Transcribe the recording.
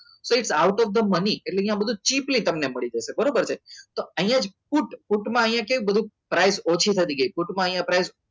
તો એ સાવ out of the મને એટલે અહીંયા બધું ચીપલી તમને મળી જશે બરોબર છે તો અહીંયા કોર્ટમાં અહીંયા છે price ઓછી થતી ગઈ છે ભાઈ ફૂટમાં અહીંયા